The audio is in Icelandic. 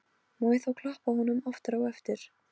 Má ég þá klappa honum aftur á eftir?